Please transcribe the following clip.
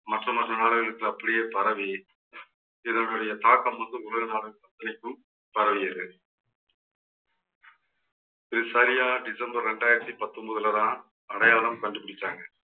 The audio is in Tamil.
மத்த மற்ற நாடுகளுக்கு அப்படியே பரவி இதனுடைய தாக்கம் வந்து உலகம் நாடு அத்தனைக்கும் பரவியது இது சரியா டிசம்பர் ரெண்டாயிரத்தி பத்தொன்பதுலதான் அடையாளம் கண்டுபிடிச்சாங்க